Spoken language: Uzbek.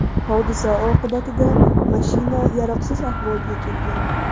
Hodisa oqibatida mashina yaroqsiz ahvolga kelgan.